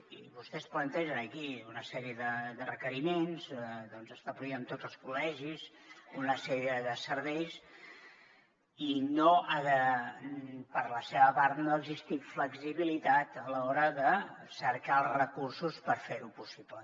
i vostès plantegen aquí una sèrie de requeriments establir en tots els col·legis una sèrie de serveis i per la seva part no ha existit flexibilitat a l’hora de cercar els recursos per fer ho possible